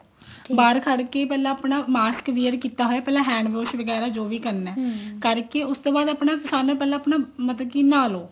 ਬਾਹਰ ਖੜ ਕੇ ਪਹਿਲਾਂ ਆਪਣਾ mask wear ਕੀਤਾ ਹੋਇਆ ਪਹਿਲਾਂ hand wash ਵਗੈਰਾ ਜੋ ਵੀ ਕਰਨਾ ਕਰਕੇ ਉਹਤੋਂ ਪਹਿਲਾਂ ਸਾਰਿਆਂ ਨਾਲੋ ਪਹਿਲਾਂ ਮਤਲਬ ਕਿ ਨਹਾ ਲੋ